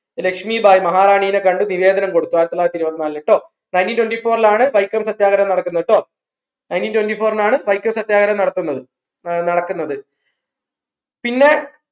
രശ്മിഭായി മഹാറാണിയെ കണ്ടു നിവേദനം കൊടുത്തു ആയിരത്തി തൊള്ളായിരത്തി ഇരുപ്പത്തിനാലിൽ ട്ടോ nineteen twentyfour ലാണ് വൈക്കം സത്യാഗ്രഹ നടക്കുന്നത് ട്ടോ nineteen twenty four ലാണ് വൈക്കം സത്യാഗ്രഹ നടത്തുന്നത് നടക്കുന്നത് പിന്നെ